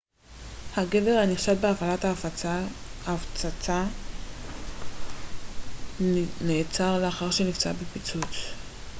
הגבר הנחשד בהפעלת הפצצה נעצר לאחר שנפצע בפיצוץ